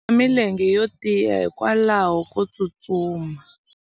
u na milenge yo tiya hikwalaho ko tsustuma